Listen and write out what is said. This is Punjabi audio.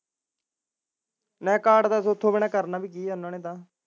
ਨਾ ਕਾਰਡ ਬਿਨਾਂ ਉੱਥੋਂ ਕਰਨਾ ਵੀ ਕੀ ਐ ਉਹਨਾ ਨੇ ਤਾਂ